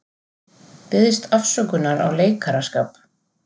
Biðst afsökunar á leikaraskap